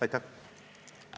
Aitäh!